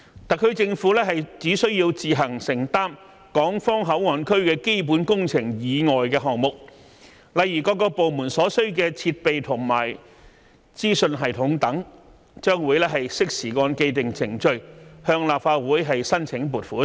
特區政府只需要自行承擔港方口岸區基本工程以外的項目，例如各部門所需的設備和資訊系統等，將會適時按既定程序向立法會申請撥款。